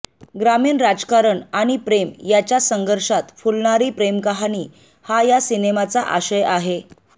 ग्रामीण राजकारण आणि प्रेम याच्या संघर्षात फुलणारी प्रेमकहाणी हा या सिनेमाचा आशय आहे